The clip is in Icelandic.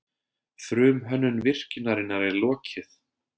Frumhönnun virkjunarinnar er lokið